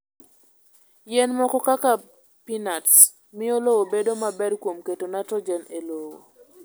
Yien moko kaka peanuts, miyo lowo bedo maber kuom keto nitrogen e lowo.